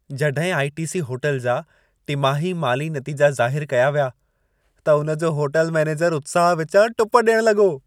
जॾहिं आई.टी.सी. होटल जा टिमाही माली नतीजा ज़ाहिर कया विया, त उन जो होटल मैनेजर उत्साह विचां टुप ॾियण लॻो।